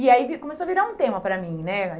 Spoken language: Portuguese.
E aí começou a virar um tema para mim, né?